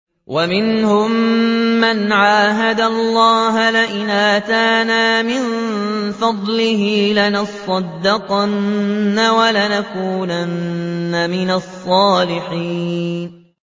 ۞ وَمِنْهُم مَّنْ عَاهَدَ اللَّهَ لَئِنْ آتَانَا مِن فَضْلِهِ لَنَصَّدَّقَنَّ وَلَنَكُونَنَّ مِنَ الصَّالِحِينَ